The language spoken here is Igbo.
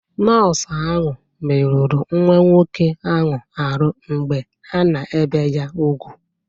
Nọọsụ ahu meruru nwa nwọke ahu arụ mgbe ana-ebe ya ùgwú.